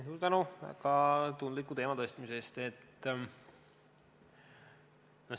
Suur tänu väga tundliku teema tõstatamise eest!